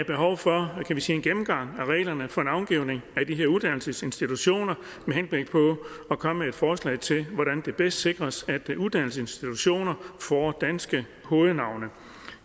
behov for en gennemgang af reglerne for navngivning af de her uddannelsesinstitutioner med henblik på at komme med et forslag til hvordan det bedst sikres at uddannelsesinstitutioner får danske hovednavne